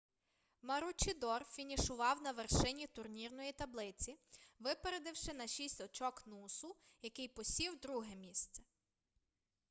маручідор фінішував на вершині турнірної таблиці випередивши на шість очок нусу який посів друге місце